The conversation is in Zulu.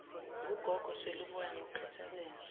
ngugogo sweluboya ngokukhathazeka